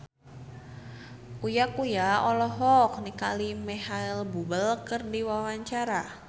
Uya Kuya olohok ningali Micheal Bubble keur diwawancara